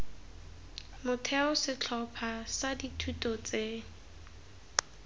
motheo setlhopha sa dithuto tse